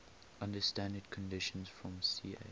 under standard conditions from ch